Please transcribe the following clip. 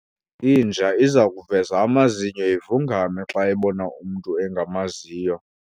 inja iza kuveza amazinyo ivungame xa ibona umntu engamaziyo